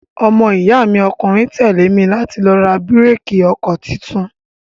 Ọmọ iya mi ọkùnrin tẹ́lé mi láti lọ ra bíréékì ọkọ tuntun.